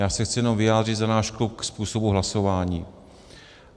Já se chci jenom vyjádřit za náš klub ke způsobu hlasování.